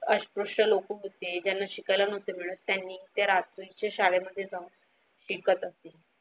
अस्पृश्य लोक होते ज्यांना शिक्यायला नव्हते मिळत त्यांनी त्या रात्रीच्या शाळे मध्ये जाऊन शिकत असते.